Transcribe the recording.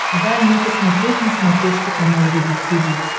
дай мне посмотреть на смотрешке канал рубль ти ви